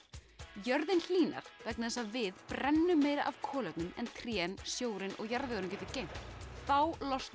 jörðin hlýnar vegna þess að við brennum meira af kolefnum en trén sjórinn og jarðvegurinn getur geymt þá losna